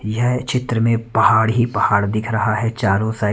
यह चित्र मे पहाड़ ही पहाड़ दिख रहा है चारों साइड --